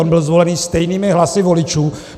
On byl zvolen stejnými hlasy voličů.